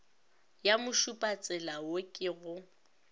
ya mošupatsela wo ke go